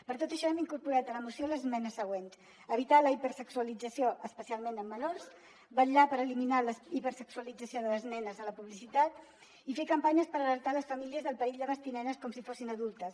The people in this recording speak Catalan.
per tot això hem incorporat a la moció les esmenes següents evitar la hiperse·xualització especialment en menors vetllar per eliminar la hipersexualització de les nenes a la publicitat i fer campanyes per alertar les famílies del perill de vestir nenes com si fossin adultes